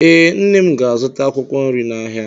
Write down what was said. Ee, nne m ga-azụta akwụkwọ nri n'ahịa.